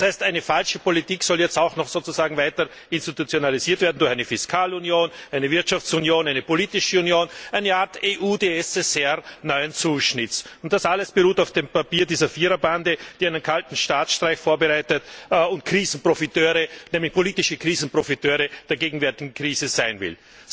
Das heißt, eine falsche Politik soll jetzt sozusagen auch noch weiter institutionalisiert werden durch eine Fiskalunion, eine Wirtschaftsunion, eine politische Union, eine Art EUdSSR neuen Zuschnitts. Und das alles beruht auf dem Papier dieser Viererbande, die einen kalten Staatsstreich vorbereitet und Krisenprofiteur, nämlich politischer Krisenprofiteur der gegenwärtigen Krise sein will.